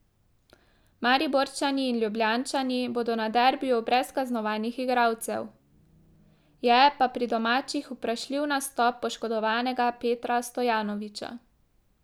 Mariborčani in Ljubljančani bodo na derbiju brez kaznovanih igralcev, je pa pri domačih vprašljiv nastop poškodovanega Petra Stojanovića.